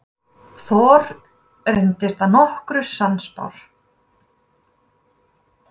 Thor reyndist að nokkru sannspár.